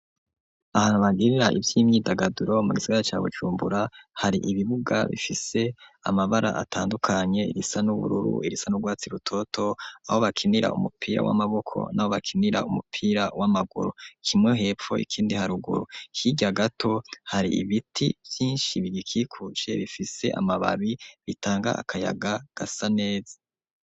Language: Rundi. Ahantu bagirira ivy'imyidagaduro mu gisigara ca Bujumbura , hari ibibuga bifise amabara atandukanye irisa n'ubururu ,irisa n'urwatsi rutoto aho bakinira umupira w'amaboko ,n'aho bakinira umupira w'amaguru ,kimwe hepfo ikindi haruguru ,hirya gato hari ibiti vyinshi bigikikuje bifise amababi bitanga akayaga gasa neza.